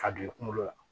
Ka don i kunkolo la